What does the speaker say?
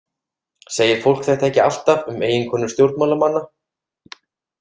Segir fólk þetta ekki alltaf um eiginkonur stjórnmálamanna?